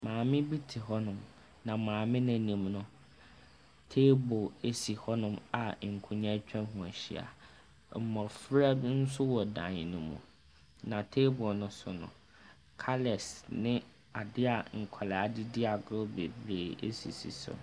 Maame bi te hɔnom, na maame no anim no, table si hɔno a nkonnwa atwaho ahyia. Mmɔfra bi nso wɔ dan no mu. Na table no so no, colours ne adeɛ a nkwadaa de di agorɔ bebree sisi so.